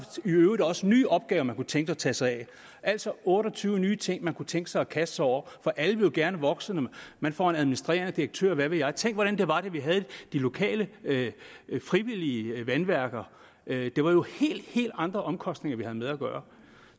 i øvrigt også nye opgaver man kunne tænke sig at tage sig af altså otte og tyve nye ting man kunne tænke sig at kaste sig over for alle vil jo gerne vokse og man får en administrerende direktør og hvad ved jeg tænk hvordan det var da vi havde de lokale frivillige vandværker det var jo helt helt andre omkostninger vi havde med at gøre